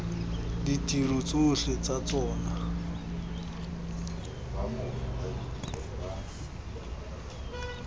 a ditiro tsotlhe tsa tsona